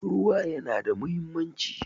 Ruwa ya na da muhimmanci